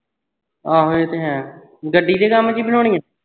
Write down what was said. ਆਹੋ ਇਹ ਤੇ ਹੈ ਗੱਡੀ ਦੇ ਕੰਮ ਦੀ ਬਣਾਉਣੀਆਂ